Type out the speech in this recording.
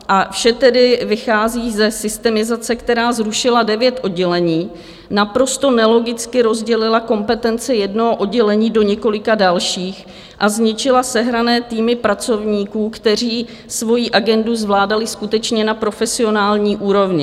A vše tedy vychází ze systemizace, která zrušila devět oddělení, naprosto nelogicky rozdělila kompetence jednoho oddělení do několika dalších a zničila sehrané týmy pracovníků, kteří svojí agendu zvládali skutečně na profesionální úrovni.